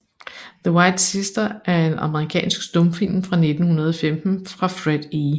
The White Sister er en amerikansk stumfilm fra 1915 af Fred E